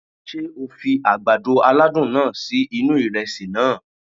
Sé o fi àgbàdo aládùn náà sí inú ìresì naa?